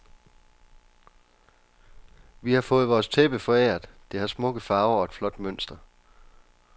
Vi har fået vores tæppe foræret, det har smukke farver og et flot mønster.